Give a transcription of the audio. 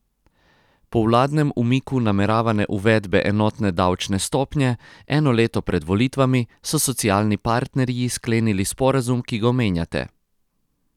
Po vladnem umiku nameravane uvedbe enotne davčne stopnje, eno leto pred volitvami, so socialni partnerji sklenili sporazum, ki ga omenjate.